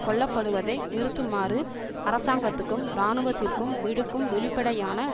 கொல்ல படுவதை நிறுத்துமாறு அரசாங்கத்துக்கும் இராணுவத்திற்கும் விடுக்கும் வெளிப்படையான